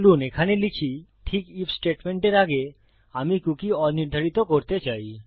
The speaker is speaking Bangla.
চলুন এখানে লিখি ঠিক আইএফ স্টেটমেন্টের আগে আমি কুকী অনির্ধারিত করতে চাই